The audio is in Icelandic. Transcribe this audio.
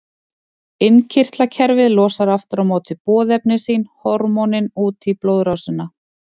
Innkirtlakerfið losar aftur á móti boðefni sín, hormónin, út í blóðrásina.